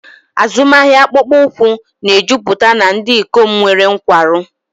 Azụmahịa akpụkpọ ụkwụ na-ejupụta na ndị ikom nwere nkwarụ.